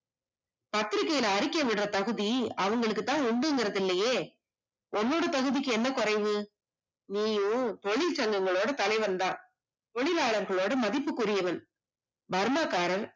பத்திரிக்கைல அறிக்கை விடுற தகுதி அவங்களுக்குதான் உண்டுங்குறது இல்லையே, உன்னோட தகுதிக்கு என்ன குறைவு, நீயும் தொழில் சங்கங்கல்ளோட தலைவன்தான், தொழிலாளர்கள்ளோட மதிப்புக்குரியவன், பர்மாக்காரன்